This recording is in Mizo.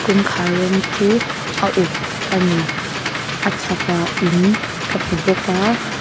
kawngkhâr rawng chu a uk a ni a chhakah in ka hmu bawk a.